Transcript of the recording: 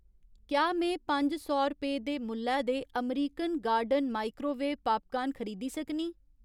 क्या में पंज सौ रपेऽ दे मुल्लै दे अमरीकन गार्डन माइक्रोवेव पापकार्न खरीदी सकनीं?